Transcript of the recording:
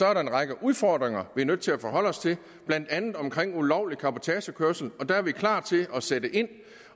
er der en række udfordringer vi er nødt til at forholde os til blandt andet omkring ulovlig cabotagekørsel og der er vi klar til at sætte ind